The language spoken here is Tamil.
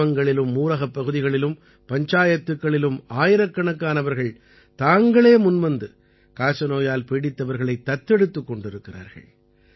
கிராமங்களிலும் ஊரகப்பகுதிகளும் பஞ்சாயத்துக்களிலும் ஆயிரக்கணக்கானவர்கள் தாங்களே முன்வந்து காசநோயால் பீடித்தவர்களை தத்தெடுத்துக் கொண்டிருக்கிறார்கள்